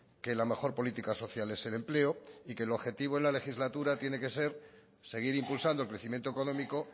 que la mejor política social es el empleo y que el objetivo en la legislatura tiene que ser seguir impulsando el crecimiento económico